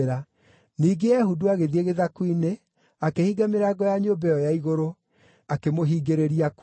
Ningĩ Ehudu agĩthiĩ gĩthaku-inĩ, akĩhinga mĩrango ya nyũmba ĩyo ya igũrũ, akĩmũhingĩrĩria kuo.